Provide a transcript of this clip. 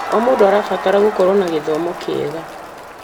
O mũndũ arabatara gũkorwo na gĩthomo kĩega.